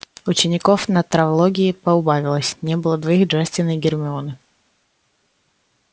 учеников на травологии поубавилось не было двоих джастина и гермионы